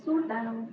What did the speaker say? Suur tänu!